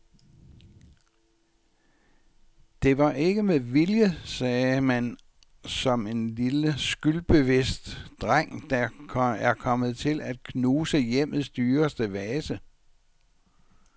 Det var ikke med vilje, sagde man som en lille skyldbevidst dreng, der er kommet til at knuse hjemmets dyreste vase.